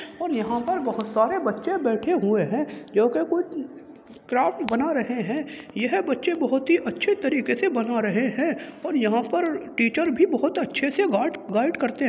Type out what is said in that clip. और यहाँ पर बोहोत सारे बच्चे बैठे हुए हैं जो के कुछ क्राफ्ट बना रहे हैं। यह बच्चे बोहोत ही अच्छे तरीके से बना रहे हैं और यहाँ पर टीचर भी बोहोत अच्छे से गाड गाइड करते --